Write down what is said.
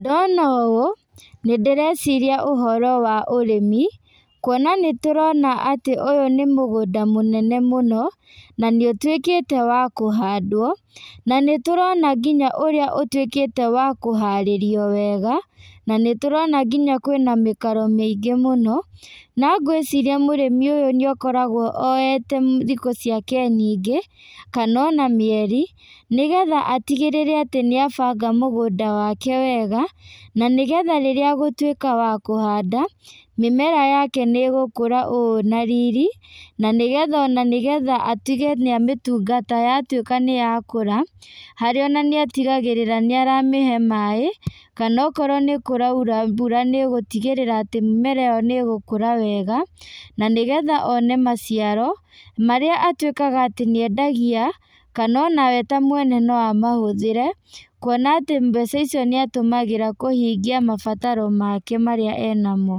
Ndona ũũ, nĩ ndĩreciria ũhoro wa ũrĩmi, kuona nĩtũrona atĩ ũyũ nĩ mũgũnda mũnene mũno, na nĩũtwíkĩte wa kũhandwo, na nĩtũrona nginya ũrĩa ũtwĩkĩte wa kũharĩrio wega, na nĩtũrona nginya kwĩna mĩkaro mĩingĩ mũno, na ngwĩciria mũrĩmi ũyũ nĩakoragwo oete thikũ ciake nyingĩ, kanona mĩeri, nĩgetha atigĩrĩre atĩ nĩabanga mũgũnda wake wega, na nĩgetha rĩrĩa egũtwíka wa kũhanda, mĩmera yake nĩgũkũra ĩrĩ na riri, na nĩgetha atige nĩamĩtungata yatwĩka níyakũra, harĩa ona nĩatigagĩrĩra nĩaramĩhe maĩ, kanokorwo nĩkũraura mbura nĩgũtigĩrĩra atĩ mĩmera íyo nĩgũkũra wega, na nĩgetha one maciaro, norĩa atwĩkaga atĩ nĩendagia, kanona we ta mwene noamahũthĩre, kuona atĩ mbeca icio nĩatũmagĩra kũhingia mabataro make marĩa enamo.